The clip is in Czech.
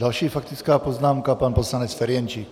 Další faktická poznámka pan poslanec Ferjenčík.